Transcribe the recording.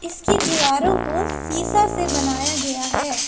इसकी दीवारों को शीशा से बनाया गया है।